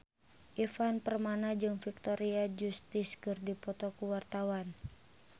Ivan Permana jeung Victoria Justice keur dipoto ku wartawan